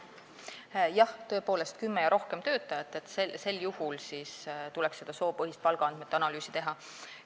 Jah, tõepoolest, kümme ja rohkem töötajat, sel juhul tuleks soopõhist palgaandmete analüüsi teha.